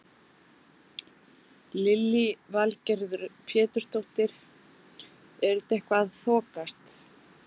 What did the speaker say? Lillý Valgerður Pétursdóttir: Er þetta eitthvað að þokast?